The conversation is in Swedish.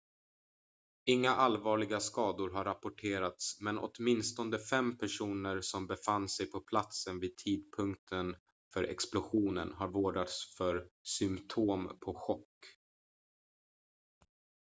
inga allvarliga skador har rapporterats men åtminstone fem personer som befann sig på platsen vid tidpunkten för explosionen har vårdats för symtom på chock